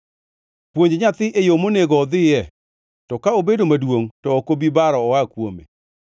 Puonj nyathi e yo monego odhiye, to ka obedo maduongʼ to ok obi baro oa kuome.